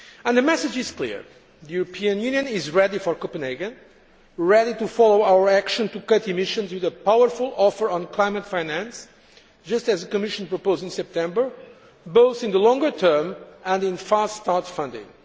The message is clear the European Union is ready for Copenhagen and ready to follow our action to cut emissions with a powerful offer on climate finance, just as the Commission proposed in September, both in the longer term and in fast start' funding.